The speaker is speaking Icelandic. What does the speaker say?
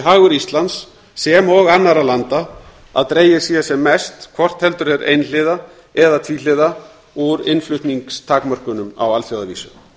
hagur íslands sem og annarra landa að dregið sé sem mest hvort heldur er einhliða eða tvíhliða úr innflutningstakmörkunum á alþjóðavísu